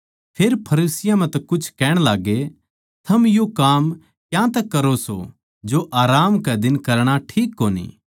फेर फरीसियाँ म्ह तै कुछ कहण लाग्गे थम यो काम क्यांतै करो सो जो आराम कै दिन करणा ठीक कोनी